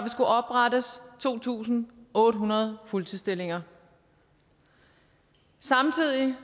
skulle oprettes to tusind otte hundrede fuldtidsstillinger samtidig